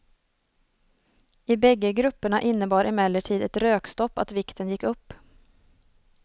I bägge grupperna innebar emellertid ett rökstopp att vikten gick upp.